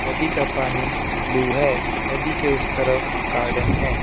नदी का पानी ब्लू है नदी के उस तरफ गार्डन है।